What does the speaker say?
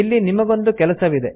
ಇಲ್ಲಿ ನಿಮಗೊಂದು ಕೆಲಸವಿದೆ